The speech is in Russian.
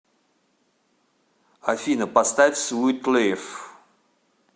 афина поставь свит лиф